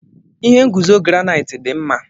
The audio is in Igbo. Ihe nguzo granaiiti dị mma.